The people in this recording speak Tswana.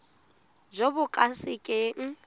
jo bo ka se keng